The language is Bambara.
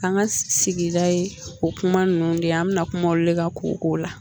An ka sigida ye o kuma ninnu de ye, an bɛna kuma o de kan kolo la.